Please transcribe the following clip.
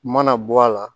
U mana bɔ a la